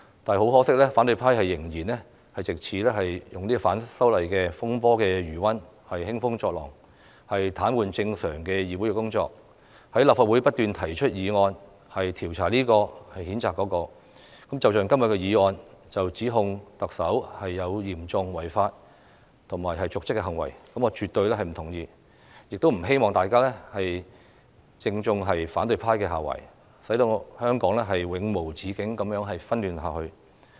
但很可惜，反對派仍然藉着反修例風波的餘溫興風作浪，癱瘓議會的正常工作，在立法會不斷提出議案調查這位、譴責那位，正如今天的議案指控特首有嚴重違法或瀆職行為，我是絕對不同意的，也不希望大家正中反對派下懷，使香港永無止境地紛亂下去。